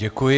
Děkuji.